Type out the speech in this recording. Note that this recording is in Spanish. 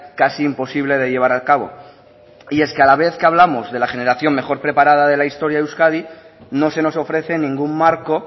casi imposible de llevar a cabo y es que a la vez que hablamos de la generación mejor preparada de la historia de euskadi no se nos ofrece ningún marco